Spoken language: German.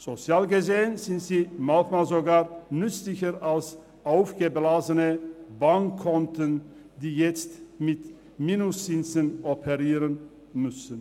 Sozial gesehen sind sie manchmal sogar nützlicher als aufgeblasene Bankkonten, die jetzt mit Minuszinsen operieren müssen.